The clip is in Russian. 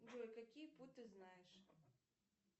джой какие пу ты знаешь